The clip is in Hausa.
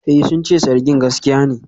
Eh, sun ce zargin gaskiya ne.